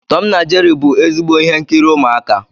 Tom na Jeri bụ ezigbo ihe nkiri umuaka.